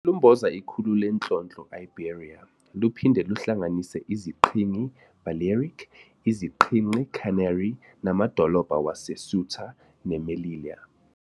luMboza ikhulu leNhlonhlo Iberia, luphinde luhlanganise iziQhingi Balearic, iziQhingi Canary, namadolobha wase-Ceuta ne-Melilla.